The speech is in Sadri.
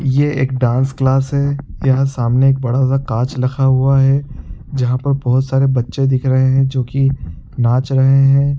ये एक डांस क्लास है यहाँ सामने एक बडा सा काँच रखा हुआ है जहाँ पर बहुत सारे बच्चे दिख रहै है जो की नाच रहै है।